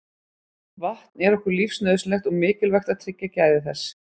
Vatn er okkur lífsnauðsynlegt og mikilvægt að tryggja gæði þess.